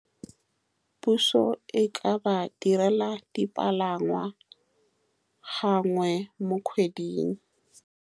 Puso e ka ba direla dipalangwa gangwe mo kgweding.